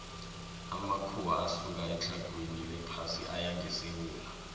amakhuwa asuka etlhagwini lephasi aya ngesewula